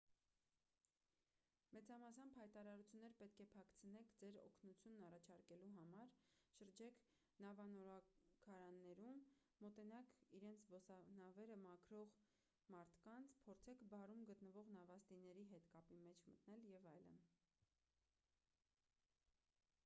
մեծամասամբ հայտարարություններ պետք է փակցնեք ձեր օգնությունն առաջարկելու համար շրջեք նավանորոգարաններում մոտենաք իրենց զբոսանավերը մաքրող մարդկանց փորձեք բարում գտնվող նավաստիների հետ կապի մեջ մտնել և այլն